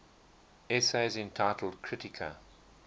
essays entitled kritika